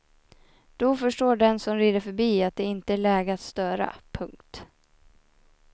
Då förstår den som rider förbi att det inte är läge att störa. punkt